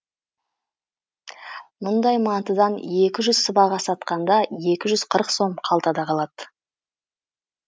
мұндай мантыдан екі жүз сыбаға сатқанда екі жүз қырық сом қалтада қалады